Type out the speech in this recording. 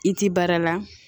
I ti baara la